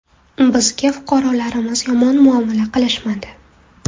Bizga fuqarolarimiz yomon muomala qilishmadi.